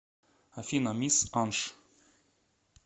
афина мисс анш